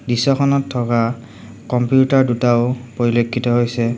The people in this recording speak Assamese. দৃশ্যখনত থকা কম্পিউটাৰ দুটাও পৰিলক্ষিত হৈছে।